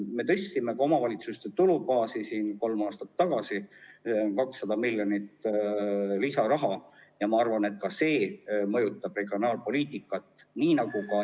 Me tõstsime kolm aastat tagasi ka omavalitsuste tulubaasi – 200 miljonit lisaraha – ja ma arvan, et ka see mõjutab regionaalpoliitikat.